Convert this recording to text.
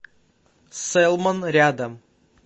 сэлмон рядом